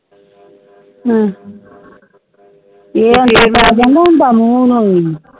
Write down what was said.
ਏ ਹੋਣ ਪੈ ਜਾਂਦਾ ਹੋਂਦ ਮੂੰਹ ਹੁਈ